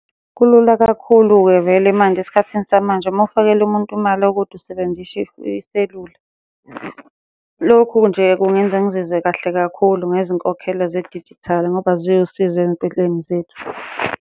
Kulula kakhulu-ke vele manje esikhathini samanje, uma ufakela umuntu imali okude iselula. Lokhu nje kungenza ngizizwe kahle kakhulu ngezinkokhelo zedijithali ngoba ziwusizo ey'mpilweni zethu.